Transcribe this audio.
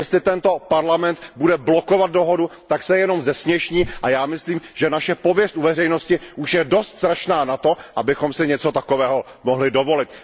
Jestli tento Parlament bude blokovat dohodu, tak se jenom zesměšní, a já myslím, že naše pověst u veřejnosti už je dost strašná na to, abychom si něco takového mohli dovolit.